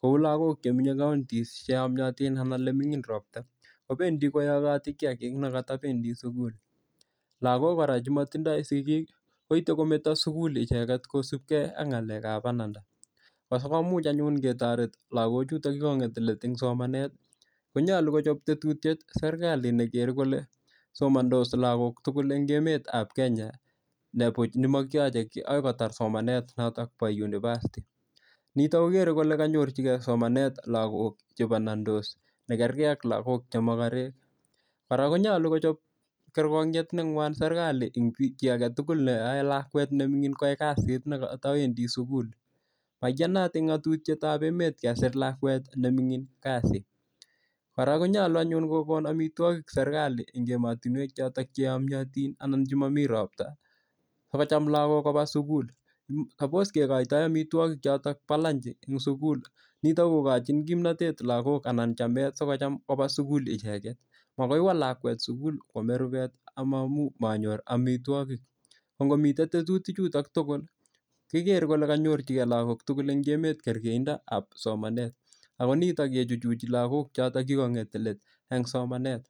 kou lakok chemenyei counties cheyomyotin anan ole ming'in ropta kobendi koyokoti kiyakik nekatabendi sukul lakok kora chematindoi sikik koitei kometo sukup icheget kosupkei ak ng'alekab bananda ako muuch anyun ketoret lakochuto chekang'et let eng' somanet konyolu kochop tetutyet serikali nekergei kole somansot lakok tugul eng' emetab Kenya nepuch nemakiyochei kii akoi kotar somanet noto bo university nito kokerei kole kanyorchigei somanet lakok chebanansot nekergei ak lakok chemokorek kora konyolu kochop kerkonyet neng'wan serikali eng' chi agetugul neoei lakwet neming'in koyai kasit nekata wendi sukul maiyanat eng ng'atutyetab emet keser lakwet neming'in kasit kora konyolu anyun kokon omitwokik serikali eng' emotinwek chotok cheyomiotin anan chemomi ropta sikocham lakok koba sukul sapos kekoitoi omitwokik chotok bo lunch eng' sukul nito kokochin kimnatet lakok anan chamet sikocham koba sukul icheget makoiwo lakwet sukul koomei rubet amamuch manyor omitwokik ko ngomitei tetutik chuto tugul kikerei kele kanyor lakok tugul eng' emetab kergeindoab somanet ako nito kechuchichi lakok choto chekang'et let eng' somanet